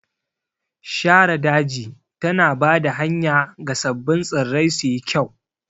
Shara daji tana ba da hanya ga sabbin tsirrai suyi kyau.